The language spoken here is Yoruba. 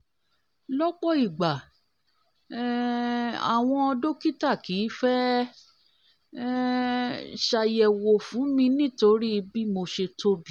lọ́pọ̀ ìgbà um àwọn dọ́kítà kìí fẹ́ um ṣàyẹ̀wọ̀ fún mi nítorí bí mo ṣe tóbi